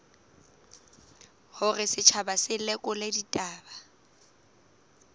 hore setjhaba se lekole ditaba